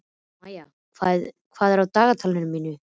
Maía, hvað er á dagatalinu mínu í dag?